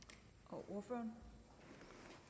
nu